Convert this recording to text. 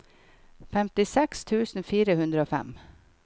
femtiseks tusen fire hundre og fem